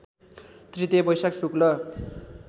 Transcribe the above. तृतीया वैशाख शुक्ल